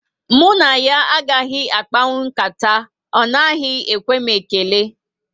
Mụ na ya agaghị akpanwu nkata, ọ naghị ekwe m ekele